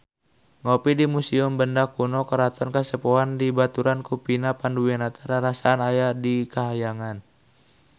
Ngopi di Museum Benda Kuno Keraton Kasepuhan dibaturan ku Vina Panduwinata rarasaan aya di kahyangan